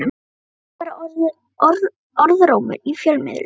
Þetta er bara orðrómur í fjölmiðlum.